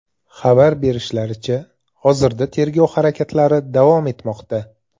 Xabar berishlaricha, hozirda tergov harakatlari davom etmoqda.